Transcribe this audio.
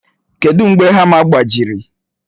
Kedu mgbe hama gbajiri?